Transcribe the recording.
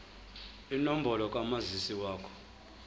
inombolo kamazisi wakho